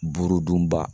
Buruduba